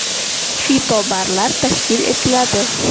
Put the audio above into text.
Fitobarlar tashkil etiladi.